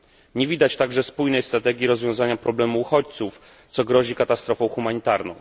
Nie widać także spójnej strategii rozwiązania problemu uchodźców, co grozi katastrofą humanitarną.